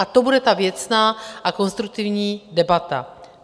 A to bude ta věcná a konstruktivní debata.